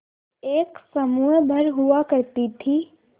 एक समूह भर हुआ करती थी